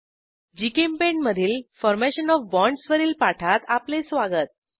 GChemPaint मधील formation O F bonds वरील पाठात आपले स्वागत